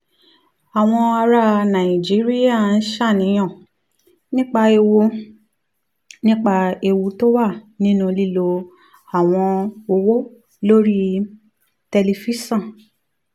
àwọn ará nàìjíríà ń ṣàníyàn nípa ewu nípa ewu tó wà nínú lílo àwọn app owó lórí tẹlifíṣọ̀n